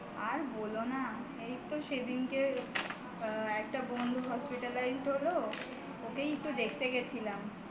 আর বোলো না এইতো সেদিনকে একটা বন্ধু hospitalized হলো ওকেই দেখতে গেছিলাম